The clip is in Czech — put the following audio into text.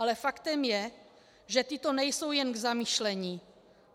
Ale faktem je, že tyto nejsou jen k zamyšlení.